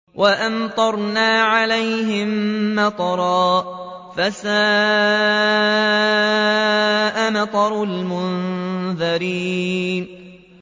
وَأَمْطَرْنَا عَلَيْهِم مَّطَرًا ۖ فَسَاءَ مَطَرُ الْمُنذَرِينَ